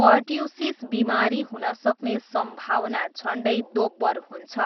Pertussis बिमारी हुनसक्ने सम्भावना झन्डै दोब्बर हुन्छ।